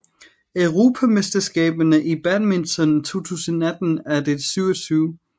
Europamesterskaberne i badminton 2018 er det 27